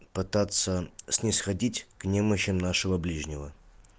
пытаться снисходить к немощи нашего ближнего